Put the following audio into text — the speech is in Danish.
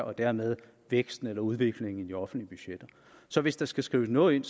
og dermed væksten eller udviklingen i de offentlige budgetter så hvis der skal skrives noget ind